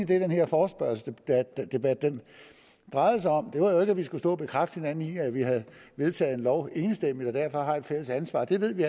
det den her forespørgselsdebat drejede sig om det var jo ikke at vi skulle stå og bekræfte hinanden i at vi havde vedtaget en lov enstemmigt og derfor har et fælles ansvar det ved vi